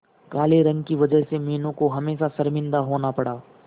काले रंग की वजह से मीनू को हमेशा शर्मिंदा होना पड़ा